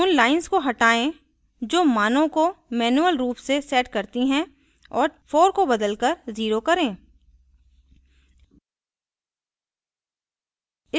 उन lines को हटायें जो मानों को मैनुअल रूप से set करती हैं और 4 को बदलकर 0 करें